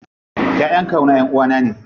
Ƴaƴan kawuna ƴanʼuwa na ne.